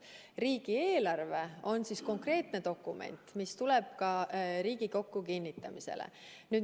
Riigieelarve on konkreetne dokument, mis tuleb ka Riigikokku kinnitamisele.